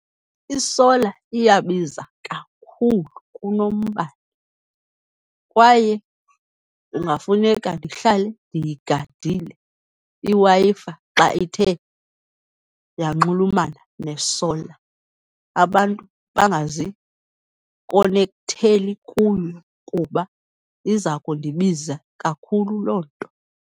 Isola iyabiza kakhulu kunombane kwaye kungafuneka ndihlale ndiyigadile iWi-Fi xa ithe yanxulumana nesola. Abantu bangazikhonektheli kuyo kuba iza kundibiza kakhulu loo nto.